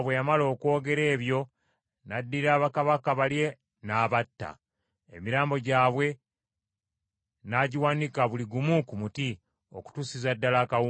Yoswa bwe yamala okwogera ebyo n’addira bakabaka bali n’abatta, emirambo gyabwe n’agiwanika buli gumu ku muti okutuusiza ddala akawungeezi.